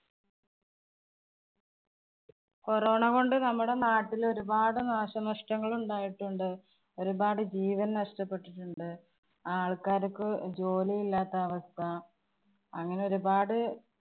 corona കൊണ്ട് നമ്മുടെ നാട്ടില് ഒരുപാട് നാശനനഷ്ടങ്ങള്‍ ഉണ്ടായിട്ടുണ്ട്. ഒരുപാട് ജീവന്‍ നനഷ്ടപ്പെട്ടിട്ടുണ്ട്. ആള്‍ക്കാര്‍ക്ക് ജോലി ഇല്ലാത്ത അവസ്ഥ. അങ്ങനെ ഒരുപാട്